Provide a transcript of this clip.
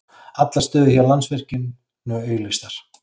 Allar stöður hjá Landsvirkjun nú auglýstar